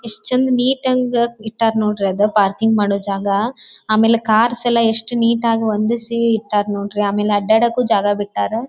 ಎಷ್ಟು ಚಂದ್ ನಿಟಾಗೆ ಇಟ್ಟರೆ ನೋಡ್ರಿ ಅದು ಪಾರ್ಕಿಂಗ್ ಮಾಡೋ ಜಾಗ ಆಮೇಲೆ ಕಾರ್ಸ್ ಎಷ್ಟು ನೀಟಾಗಿ ಹೊಂದಿಸಿ ಇಟ್ಟರ್ ನೋಡ್ರಿ ಆಮೇಲೆ ಅಡ್ಡಾಡಕು ಜಾಗ ಬಿಟ್ಟಾರ.